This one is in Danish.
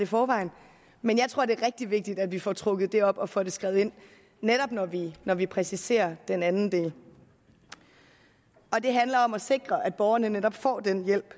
forvejen men jeg tror det er rigtig vigtigt at vi får trukket det op og får det skrevet ind netop når vi når vi præciserer den anden del det handler om at sikre at borgerne netop får den hjælp